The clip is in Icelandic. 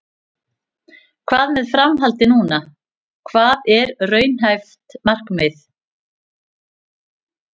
Hvað með framhaldið núna, hvað er raunhæft markmið?